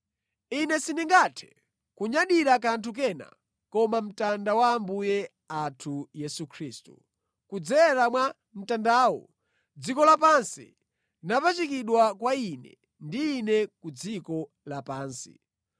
Ine sindingathe kunyadira kanthu kena koma mtanda wa Ambuye athu Yesu Khristu, kudzera mwa mtandawo dziko lapansi linapachikidwa kwa ine ndi ine ku dziko lapansi.